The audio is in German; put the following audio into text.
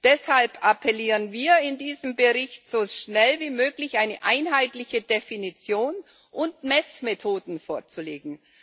Deshalb appellieren wir in diesem Bericht, so schnell wie möglich eine einheitliche Definition und Messmethoden vorzulegen.